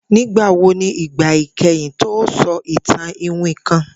Nigbawo ni igba ikẹhin ti o sọ itan iwin kan?